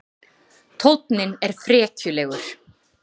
Tónninn er frekjulegur.